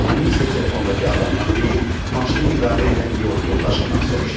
Bunu isə telefondakı adamdan deyil, maşını idarə edən yol yoldaşından soruşdu.